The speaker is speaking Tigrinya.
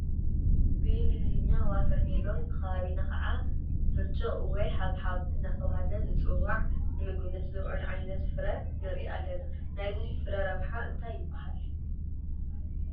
ብእንግሊዝኛ ዋተር ሜሎን ብከባቢና ከዓ ብርጭ ወይ ሓብሓብ እናተባህለ ዝፅዋዕ ንምግብነት ዝውዕል ዓይነት ፍረ ንርኢ ኣለና፡፡ ናይዚ ፍረ ረብሓ እንታይ እዩ?